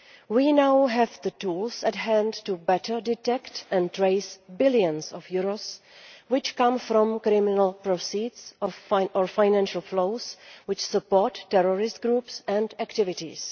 We now have the tools at hand to better detect and trace billions of euros which come from criminal proceeds or financial flows which support terrorist groups and activities.